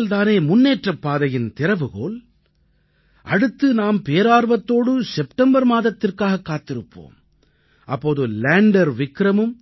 அறிவியல் தானே முன்னேற்றப் பாதையின் திறவுகோல் அடுத்து நாம் பேரார்வத்தோடு செப்டம்பர் மாதத்திற்காக காத்திருப்போம் அப்போது லேண்டர் விக்ரமும்